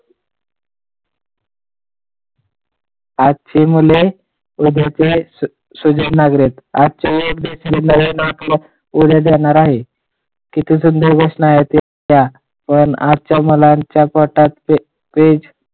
आजची मुले उद्याची सुजाण नागरिक आजची पुढे जाणार आहे आजच्या मुलाच्या